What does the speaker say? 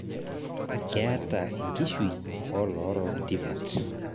Keeta enkishui olorook tipat